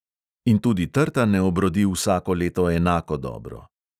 In tudi trta ne obrodi vsako leto enako dobro.